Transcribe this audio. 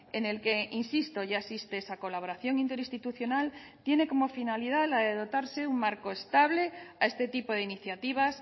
en el que insisto ya existe esa colaboración interinstitucional tiene como finalidad la de dotarse un marco estable a este tipo de iniciativas